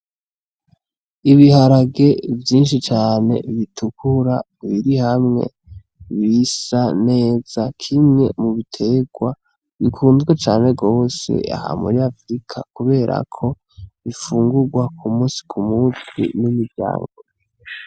Ibiharage vyinshi cane bitukura biri hamwe, bisa neza, kimwe mu biterwa bikunzwe cane gose aha muri Afrika kubera ko bifungurwa ku musi ku musi n'imiryango.